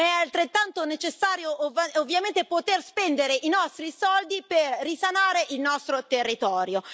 Ma è altrettanto necessario, ovviamente, poter spendere i nostri soldi per risanare il nostro territorio.